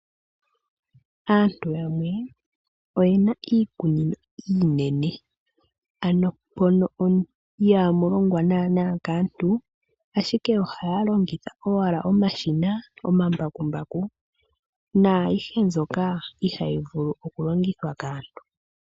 Aantu yamwe oyena iikunino iinene ano mono ihamu longwa naana kaantu ashike ohaya longitha owala omashina, omambakumbaku naayishe mbyoka ihayi vulu okulongithwa kaantu.